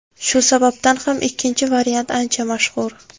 Shu sababdan ham ikkinchi variant ancha mashhur.